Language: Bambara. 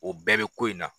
O bɛɛ bɛ ko in na